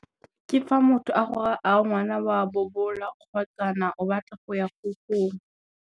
Ke fa motho a go raa a re ngwana wa bobola kgotsa na o batla go ya ko gogong.